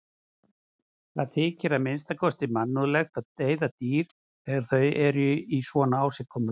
Það þykir að minnsta kosti mannúðlegt að deyða dýr þegar þau eru í svona ásigkomulagi.